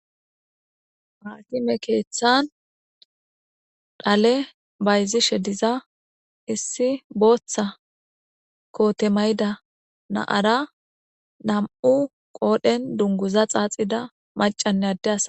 Haakime keeththan dhale bayzishe diza issi booththa kootemayda naara nam7u qoodhen dunguza xaaxida macanne adde asa